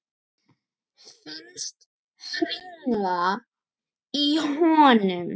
Finnst hringla í honum.